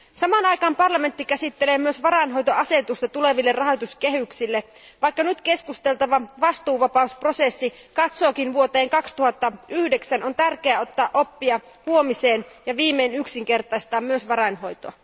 Samaan aikaan parlamentti käsittelee myös varainhoitoasetusta tuleville rahoituskehyksille. Vaikka nyt käsiteltävä vastuuvapausprosessi katsookin vuoteen 2009, on tärkeää ottaa oppia huomisen varalta ja viimein yksinkertaistaa myös varainhoito.